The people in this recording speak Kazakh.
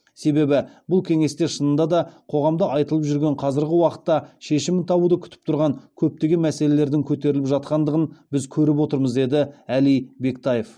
себебі бұл кеңесте шынында да қоғамда айтылып жүрген қазіргі уақытта шешімін табуды күтіп тұрған көптеген мәселелердің көтеріліп жатқандығын біз көріп отырмыз деді әли бектаев